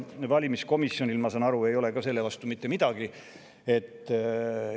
Valimiskomisjonil, ma saan aru, ei ole selle vastu mitte midagi.